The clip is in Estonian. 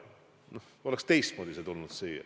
Küllap see oleks siia teistmoodi jõudnud.